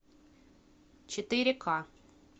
четыре ка